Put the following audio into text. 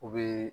U bɛ